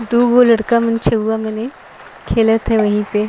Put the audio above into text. दूगो लड़का मने छऊवा मने खेलत हे वही पे --